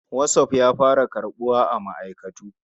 WhatApp ya fara samun karɓuwa a ma'aikatu.